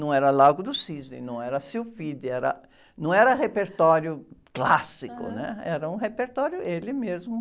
Não era Lago do Cisne, não era Sylphides, era, não era repertório clássico, né? Era um repertório, ele mesmo.